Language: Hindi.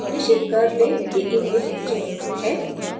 निश्चित कर लें कि image चयनित है